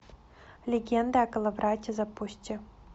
легенда о коловрате запусти